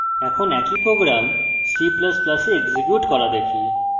এখন একই program c ++ এ execute করা দেখি